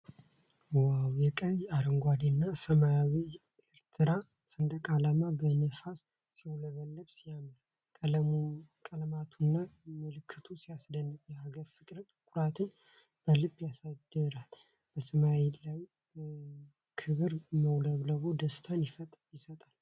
ዋው! የቀይ፣ አረንጓዴና ሰማያዊው ኤርትራ ሰንደቅ ዓላማ በነፋስ ሲውለበለብ ሲያምር! ቀለማቱና ምልክቱ ሲያስደንቅ! የሀገር ፍቅርንና ኩራትን በልብ ያሳድራል። በሰማይ ላይ በክብር መውለብለቡ ደስታን ይሰጣል።